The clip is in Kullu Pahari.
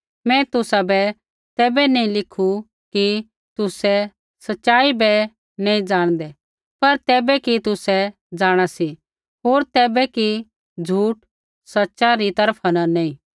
मैं तुसाबै तैबै नैंई लिखू कि तुसै सच़ाई बै नैंई जाणदै पर तैबै कि तुसै जाँणा सी होर तैबै कि झूठ सच़ा री तरफा न नैंई